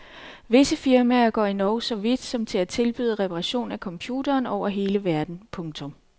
Visse firmaer går endog så vidt som til at tilbyde reparation af computeren over hele verden. punktum